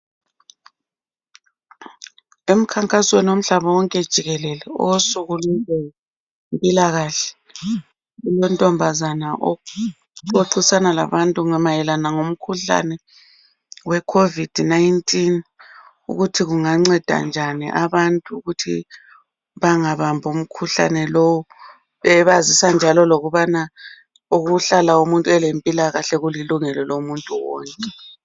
Emkhankasweni womhlaba wonke jikelele, owosuku lwezempilakahle. Kulontombazana oxoxisana labantu ngomkhuhlane oweCovid 19. Ukuthi kunganceda njani abantu ukuthi bangabambi umkhuhlane lowu. Ebazisa njalo lokubana ukuhlala umuntu elempilakahle, kulilungelo lomuntu wonke.